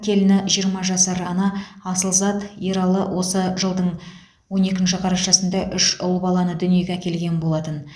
келіні жиырма жасар ана асылзат ералы осы жылдың он екінші қарашасында үш ұл баланы дүниеге әкелген болатын